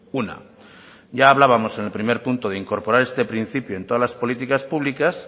una ya hablábamos en el primer punto de incorporar este principio en todas las políticas públicas